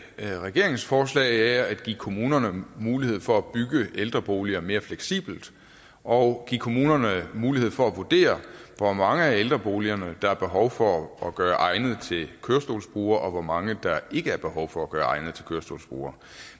regeringens forslag er at give kommunerne mulighed for at bygge ældreboliger mere fleksibelt og give kommunerne mulighed for at vurdere hvor mange af ældreboligerne der er behov for at gøre egnet til kørestolsbrugere og hvor mange der ikke er behov for at gøre egnet til kørestolsbrugere